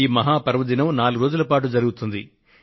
ఈ మహా పర్వదినం నాలుగు రోజుల పాటు జరుగుతుంది